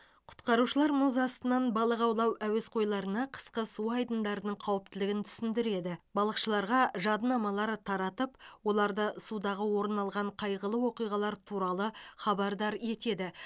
құтқарушылар мұз астынан балық аулау әуесқойларына қысқы су айдындарының қауіптілігін түсіндіреді балықшыларға жадынамалар таратып оларды судағы орын алған қайғылы оқиғалар туралы хабардар етеді